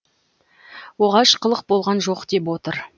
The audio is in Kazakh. оғаш қылық болған жоқ деп отыр